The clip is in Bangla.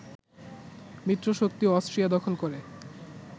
মিত্রশক্তি অস্ট্রিয়া দখল করে